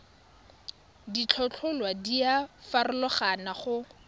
ditlhotlhwa di a farologana go